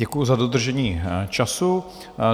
Děkuji za dodržení času.